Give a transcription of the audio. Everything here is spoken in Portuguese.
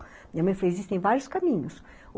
Minha mãe fez, existem vários caminhos.